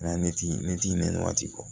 Mɛ ne ti ne ti ne ni waati bɔ